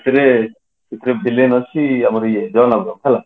ସେଥିରେ villain ଅଛି ଆମର ଇଏ ଜନ ଆବ୍ରାହମ ହେଲା